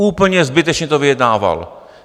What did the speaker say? Úplně zbytečně to vyjednával.